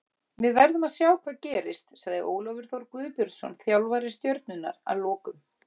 Við verðum að sjá hvað gerist, sagði Ólafur Þór Guðbjörnsson þjálfari Stjörnunnar að lokum.